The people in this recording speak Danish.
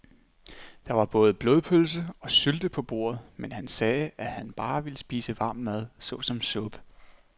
Der var både blodpølse og sylte på bordet, men han sagde, at han bare ville spise varm mad såsom suppe.